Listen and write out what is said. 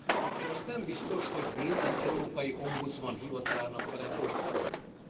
akkor azt nem biztos, hogy mind az európai ombudsman hivatalának kellene most felrónunk.